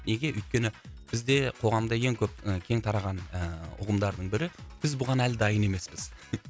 неге өйткені бізде қоғамда ең көп і кең тараған ыыы ұғымдардың бірі біз бұған әлі дайын емеспіз